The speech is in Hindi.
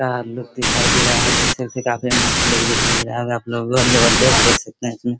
क्या लुक दिखाई दे रहा है देख सकते हैं काफी मस्त लुक दिखाई दे रहा होगा आप लोग और जगह देख सकते हैं इसमें।